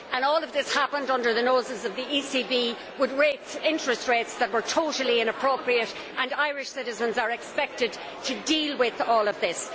All of this happened under the noses of the ECB, with interest rates that were totally inappropriate. Irish citizens are expected to deal with all of this.